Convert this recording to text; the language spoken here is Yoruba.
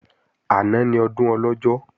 Àná ni Ọdún Ọlọ́jọ́